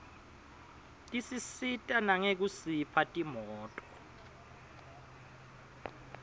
tisisita nangekusipha timoto